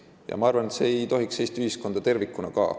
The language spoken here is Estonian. Ja ma arvan, et see ei tohiks rahuldada ka Eesti ühiskonda tervikuna.